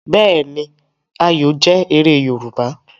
Bẹẹni, Ayọ jẹ̀ èrè Yorùbá.